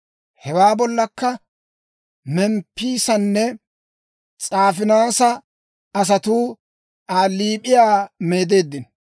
Hewaa bollakka Memppisanne S'aafinaasa asatuu Aa liip'iyaa meedeeddino.